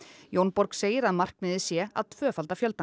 Jonna segir að markmiðið sé að tvöfalda fjöldann